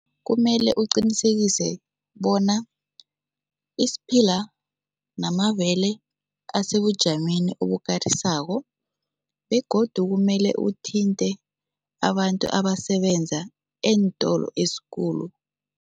Kumele uqinisekise bona isiphila namabele asebujameni obukarisako begodu kumele uthinte abantu abasebenza eentolo ezikulu.